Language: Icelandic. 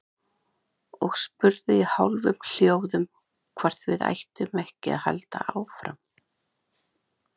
Og spurði í hálfum hljóðum hvort við ættum ekki að halda áfram.